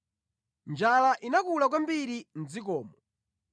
Njala inakula kwambiri mʼdzikomo.